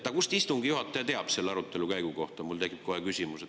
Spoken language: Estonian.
Aga kust istungi juhataja teab selle arutelu käigu kohta, mul tekib kohe küsimus.